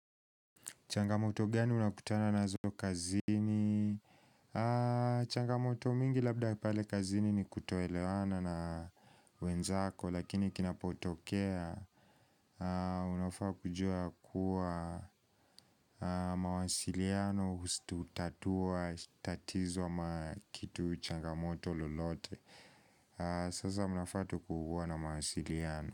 Changamoto gani unakutana nazo kazini. Changamoto mingi labda ya pale kazini ni kutoelewana na wenzako, lakini kinapotokea unofaa kujua kua mawasiliano hutatua tatizo ama kitu changamoto lolote. Sasa mnafaa tu kua na mawasiliano.